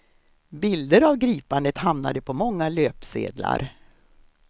Bilder av gripandet hamnade på många löpsedlar.